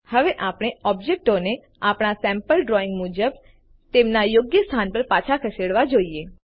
હવે આપણે ઓબ્જેક્ટોને આપણા સેમ્પલ ડ્રોઈંગ મુજબ તેમના યોગ્ય સ્થાન પર પાછા ખસેડવા જોઈએ